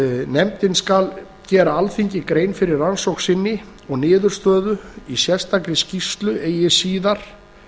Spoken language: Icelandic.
nefndin skal gera alþingi grein fyrir rannsókn sinni og niðurstöðu í sérstakri skýrslu eigi síðar